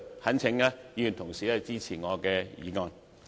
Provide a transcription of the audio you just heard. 懇請議員同事支持我的議案，多謝。